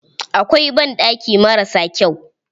Akwai banɗaki marasa kyau.